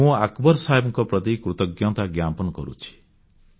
ମୁଁ ଆକବର ସାହେବଙ୍କ ପ୍ରତି କୃତଜ୍ଞତା ଜ୍ଞାପନ କରୁଛି